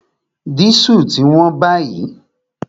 Dísù ti wón báyìí